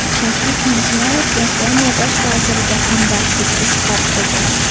Shavkat Mirziyoyev Yaponiya bosh vaziriga hamdardlik izhor qildi.